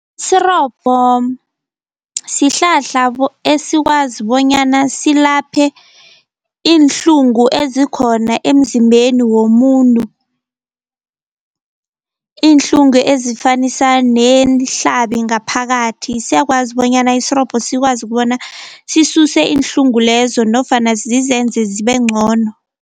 Sirobho sihlahla esikwazi bonyana silaphe iinhlungu ezikhona emzimbeni womuntu, iinhlungu ezifanisa neenhlabi ngaphakathi, siyakwazi bonyana isirobho sikwazi ukubona sisuse iinhlungu lezo nofana zizenze zibe ncono.